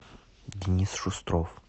денис шустров